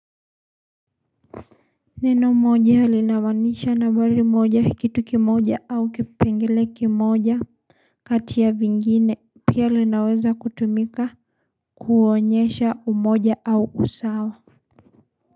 Neno moja linamaanisha narmbai moja kitu kimoja au kipengele kimoja. Kati ya vingine pia linaweza kutumika kuonyesha umoja au usawa.